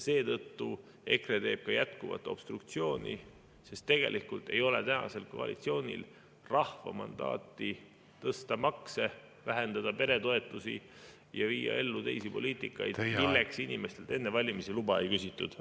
Seetõttu EKRE teeb jätkuvat obstruktsiooni, sest tegelikult ei ole tänasel koalitsioonil rahva mandaati tõsta makse, vähendada peretoetusi ja viia ellu teisi poliitikaid, milleks inimestelt enne valimisi luba ei küsitud.